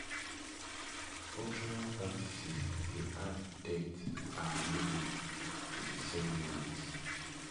cultural practices dey add depth and meaning to the ceremonies